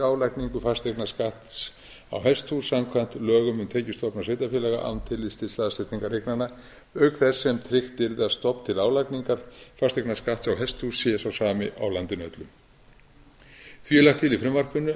álagningu fasteignaskatts á hesthús samkvæmt lögum um tekjustofna sveitarfélaga án tillits til staðsetningar eignanna auk þess sem tryggt yrði að stofn til álagningar fasteignaskatts á hesthús sé sá sami á landinu öllu því er lagt til í frumvarpinu